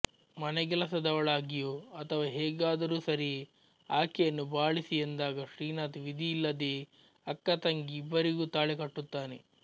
ಮನೆಗೆಲಸದವಳಾಗಿಯೋ ಅಥವಾ ಹೇಗಾದರೂ ಸರಿಯೇ ಆಕೆಯನ್ನು ಬಾಳಿಸಿ ಎಂದಾಗ ಶ್ರೀನಾಥ್ ವಿಧಿಯಿಲ್ಲದೆಯೇ ಅಕ್ಕತಂಗಿ ಇಬ್ಬರಿಗೂ ತಾಳಿ ಕಟ್ಟುತ್ತಾನೆ